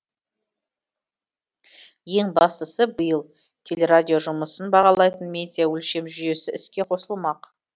ең бастысы биыл телерадио жұмысын бағалайтын медиа өлшем жүйесі іске қосылмақ